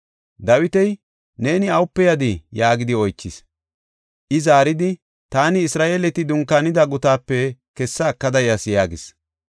Dawiti, “Neeni awape yadii?” yaagidi oychis. I zaaridi, “Taani Isra7eeleti dunkaanida gutaape kessa ekada yas” yaagis.